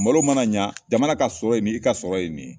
Malo mana ɲa jamana ka sɔrɔ ye nin ye i ka sɔrɔ ye nin ye